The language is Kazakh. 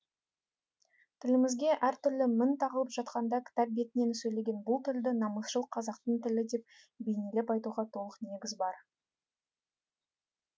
тілімізге әртүрлі мін тағылып жатқанда кітап бетінен сөйлеген бұл тілді намысшыл қазақтың тілі деп бейнелеп айтуға толық негіз бар